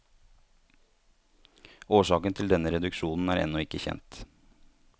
Årsaken til denne reduksjon er ennå ikke kjent.